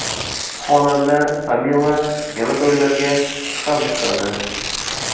Xonanda Tamila yana to‘ylarga chiqa boshladi.